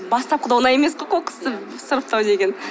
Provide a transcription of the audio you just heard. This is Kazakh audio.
бастапқыда оңай емес қой қоқысты сұрыптау деген